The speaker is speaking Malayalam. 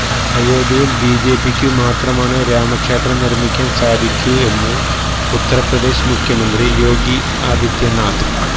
അയോധ്യയില് ബിജെപിക്കു മാത്രമാണ് രാമക്ഷേത്രം നിര്മിക്കാന് സാധിക്കൂ എന്ന് ഉത്തര്പ്രദേശ് മുഖ്യമന്ത്രി യോഗി ആദിത്യനാഥ്